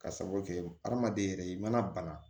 Ka sabu kɛ adamaden yɛrɛ ye i mana bana